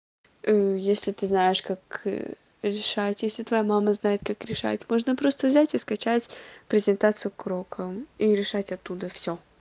если ты знаешь как решать если твоя мама знает как решать можно просто взять и скачать презентацию к урокам и решать оттуда всё